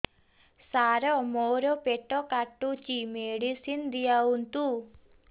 ସାର ମୋର ପେଟ କାଟୁଚି ମେଡିସିନ ଦିଆଉନ୍ତୁ